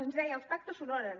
ens deia els pactes s’honoren